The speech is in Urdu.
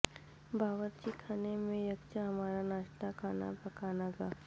باورچی خانے میں یکجا ہمارا ناشتہ کھانا پکانا گا